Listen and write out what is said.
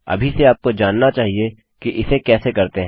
अभी से आपको जानना चाहिए कि उसे कैसे करते हैं